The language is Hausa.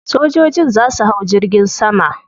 Sojojin za su hau jirgin sama.